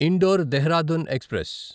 indoor Dehradun express